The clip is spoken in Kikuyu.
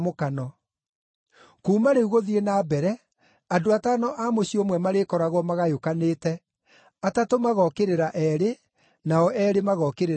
Kuuma rĩu gũthiĩ na mbere, andũ atano a mũciĩ ũmwe marĩkoragwo magayũkanĩte, atatũ magookĩrĩra eerĩ, nao eerĩ magookĩrĩra atatũ.